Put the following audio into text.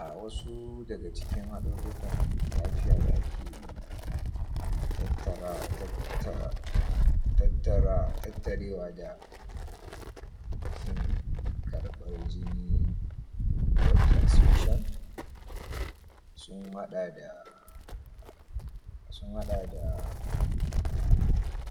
um wasu daga cikin haɗaruruka lafiya dake tattara tatta[um] tattara[um] tattarewa da kin karɓar jini blood transmision sun haɗa da sun haɗa da